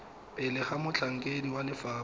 pele ga motlhankedi wa lefapha